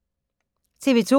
TV 2